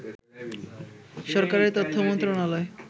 সরকারের তথ্য মন্ত্রণালয়